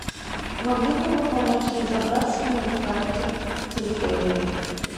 могли бы вы помочь разобраться мне в карте территории